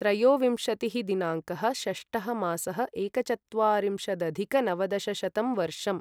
त्रयोविंशतिः दिनाङ्कः षष्टः मासः एकचत्वारिंशदधिक नवदशशतं वर्षम्